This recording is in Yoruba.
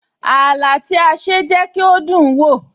Ààlà tí a ṣe jẹ́ kí ó dùn ún wò